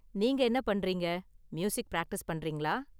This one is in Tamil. நீங்க என்ன பண்றீங்க? மியூசிக் பிராக்டிஸ் பண்றீங்களா?